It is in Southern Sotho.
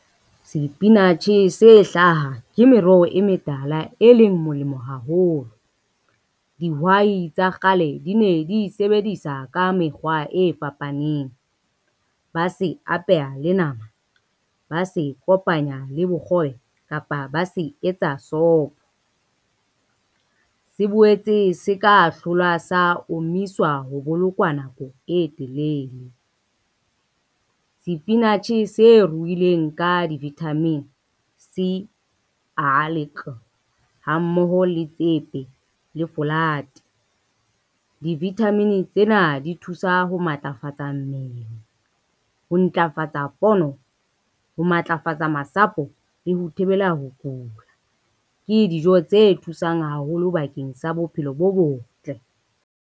Sepinatjhe se hlaha ke meroho e metala e leng molemo haholo. Dihwai tsa kgale di ne di sebedisa ka mekgwa e fapaneng, ba se apeha le nama, ba se kopanya le bokgobe kapa ba se etsa sopho. Se boetse se ka hlolwa sa omiswa ho bolokwa nako e telele. Sepinatjhe se ruwileng ka di-vitamin C, A le K ha mmoho le tsepe le folate. Di-vitamin tsena di thusa ho matlafatsa mmele, ho ntlafatsa pono, ho matlafatsa masapo le ho thibela ho kula. Ke dijo tse thusang haholo bakeng sa bophelo bo botle.